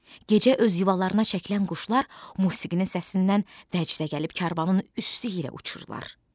Gecə öz yuvalarına çəkilən quşlar musiqinin səsindən vəcdə gəlib karvanın üstü ilə uçurlar.